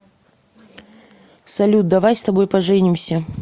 салют давай с тобой поженимся